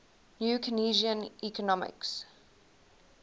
new keynesian economics